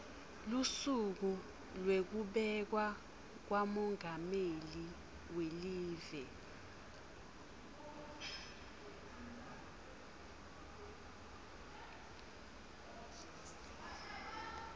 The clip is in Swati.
lusuku lwekubekwa kwamengameli welive